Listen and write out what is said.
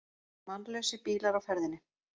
Mannlausir bílar á ferðinni